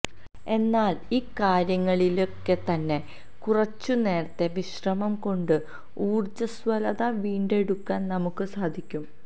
എന്നാല് ഈ കാര്യങ്ങളിലൊക്കെത്തന്നെ കുറച്ചുനേരത്തെ വിശ്രമം കൊണ്ട് ഊര്ജ്ജ്വസ്വലത വീണ്ടെടുക്കാന് നമുക്ക് സാധിക്കും